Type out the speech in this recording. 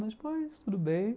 Mas depois, tudo bem.